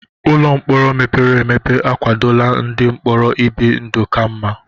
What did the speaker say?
Ụlọ mkpọrọ mepere emepe akwadola ndị mkpọrọ ibi ndụ ka mma.